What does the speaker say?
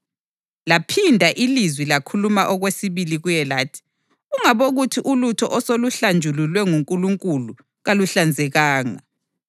Laphinda ilizwi lakhuluma okwesibili kuye lathi, “Ungabokuthi ulutho oseluhlanjululwe nguNkulunkulu kaluhlanzekanga.”